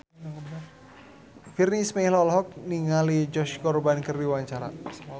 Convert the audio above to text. Virnie Ismail olohok ningali Josh Groban keur diwawancara